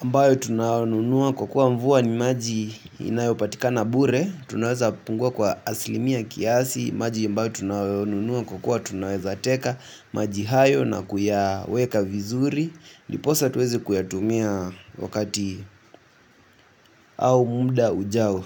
ambayo tunaonunua kwa kuwa mvua ni maji inayopatika na bure. Tunaweza pungua kwa asilimia kiasi. Maji ambayo tunaonunua kwa kuwa tunaweza teka. Maji hayo na kuyaweka vizuri ndiposa tuweze kuyatumia wakati au muda ujao.